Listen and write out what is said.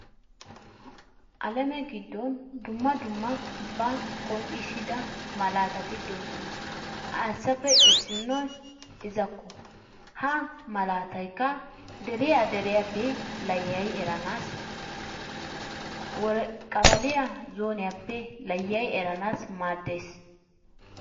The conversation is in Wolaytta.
Alamee giddon dumma dummaba qonccisida malatatti doosona. Hasappe iisinoy iza.ko Ha malataykka deriyaa deriyaappe laayyayi erenassi qabaliyaa zooniyaappe layayi eranaasi maaddees.